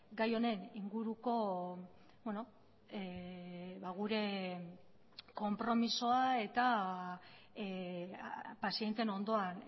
gai honen inguruko gure konpromisoa eta pazienteen ondoan